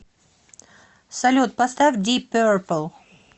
салют поставь дип перпл